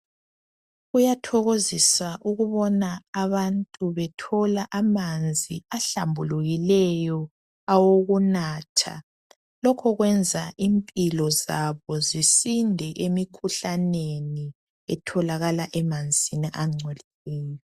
Kuyathokozisa ukubona abantu bethola amanzi ahlambulukileyo awokunatha. Lokhu kuyenza imphilo zabo zisinde emikhuhlaneni otholakala emanzini agcolileyo.